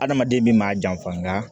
Adamaden min maa janfa nga